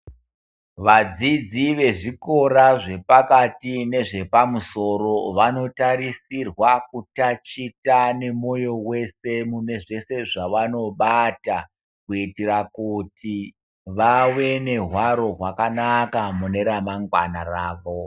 Vadzidzi vezvikora zvepakati nezvepamusoro vanotaeisirwa kutaticha nemoyo wese munezvese zvavanobata kuitira kuti vave nehwaro hwakanaka mune ramangwana ravo.